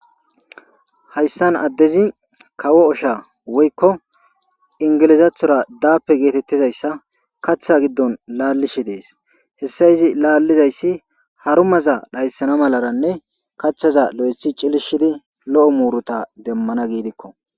Hyissani adezi kawo osha woyiko ingilizathora dappe getetida zeretha katha giddoni lalishe hesi lalizayisi haramaza dhayissana mlane kathata cilushidi lo'o muruta immana mala